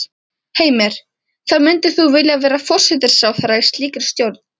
Heimir: Þá myndir þú vilja vera forsætisráðherra í slíkri stjórn?